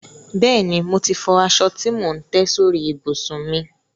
Bẹ́ẹ̀ni, mo ti fọ aṣọ tí mò ń tẹ́ sórí ìbùsùn mi.